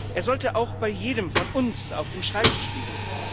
Er sollte auch bei jedem von uns auf dem Schreibtisch liegen.